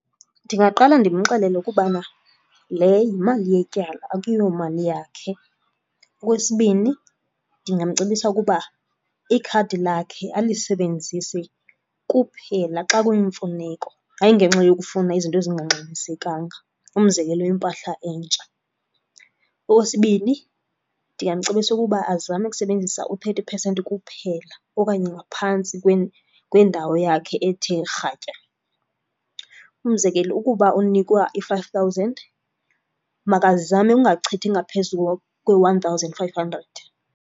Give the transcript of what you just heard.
Ndingaqala ndimxelele ukubana, le yimali yetyala akuyomali yakhe. Okwesibini, ndingamcebisa ukuba ikhadi lakhe alisebenzise kuphela xa kuyimfuneko, hayi, ngenxa yokufuna izinto ezingangxamisekanga. Umzekelo, impahla entsha. Okwesibini, ndingamcebisa ukuba azame ukusebenzisa u-thirty percent kuphela okanye ngaphantsi kwendawo yakhe ethe rhatya. Umzekelo, ukuba unikwa i-five thousand makazame ungachithi ngaphezu kwe-one thousand five hundred.